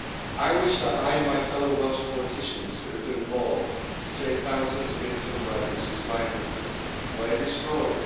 I wish that I and my fellow Welsh politicians could have done more to save thousands of innocent workers whose livelihoods were destroyed.